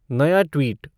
नया ट्वीट